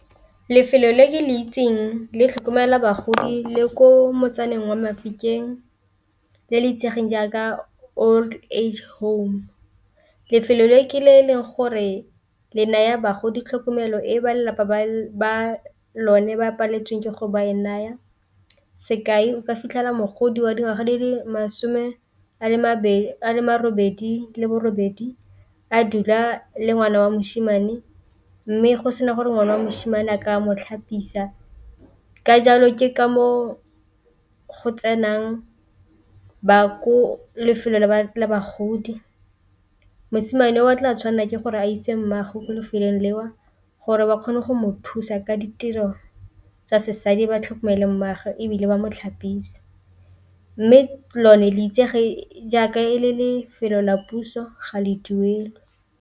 Lefelo le le itseng le tlhokomela bagodi le ko motsaneng wa Mafikeng le le itsegeng jaaka old age home lefelo le ke le leng gore le naya bagodi tlhokomelo e ba lelapa ba lone ba paleletsweng ke go ba naya, sekai o ka fitlhela mogodi wa dingwaga di le masome a robedi le bo robedi a dula le ngwana wa mosimane mme go sena gore ngwana wa mosimane a ka mo itlhapisa, ka jalo ke ka moo go tsenang ba ko lefelo la bagodi mosimane o a tla tshwanela ke gore a ise mmaagwe ko lefelong leo gore ba kgone go mo thusa ka ditiro tsa sesadi ba tlhokomele mmaagwe, ebile ba mo tlhapise mme lone le itsege jaaka e le lefelo la puso ga le duelwe.